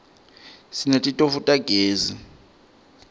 sinetitofu tagezi